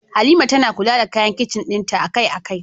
Halima tana kula da kayan kicin dinta akai-akai.